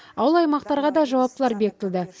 ауыл аймақтарға да жауаптылар бекітілді